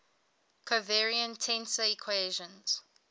covariant tensor equations